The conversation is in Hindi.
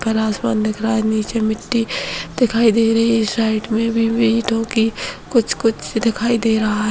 काला आसमान दिख रहा है नीचे मिट्टी दिखाई दे रही है साइड मे भी ईटों की कुछ-कुछ दिखाई दे रहा है।